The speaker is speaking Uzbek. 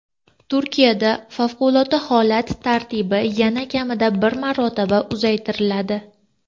Turkiyada favqulodda holat tartibi yana kamida bir marotaba uzaytiriladi.